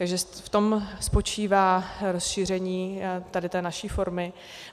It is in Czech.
Takže v tom spočívá rozšíření tady té naší formy.